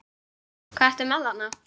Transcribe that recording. Hvað ertu með þarna?